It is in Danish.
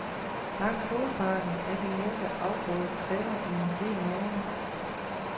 Langt hovedparten af de nævnte afgrøder kræver en del næring.